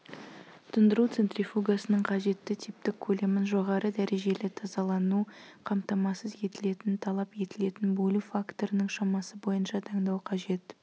тұндыру центрифугасының қажетті типтік көлемін жоғары дәрежелі тазалану қамтамасыз етілетін талап етілетін бөлу факторының шамасы бойынша таңдау қажет